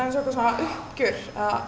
uppgjör